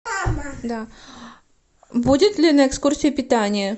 да будет ли на экскурсии питание